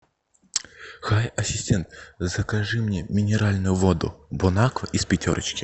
хай ассистент закажи мне минеральную воду бонаква из пятерочки